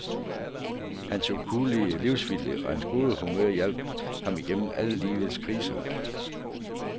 Hans ukuelige livsvilje og hans gode humør hjalp ham igennem alle livets kriser.